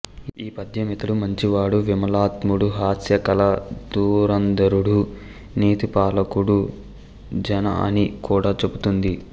ఈ పద్యం ఇతడు మంచివాడు విమలాత్ముడు హాస్యకళా దురంధరుడు నీతిపాలకుడు జాణ అని కూడా చెబుతూంది